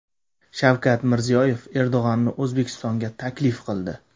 Shavkat Mirziyoyev Erdo‘g‘onni O‘zbekistonga taklif qildi .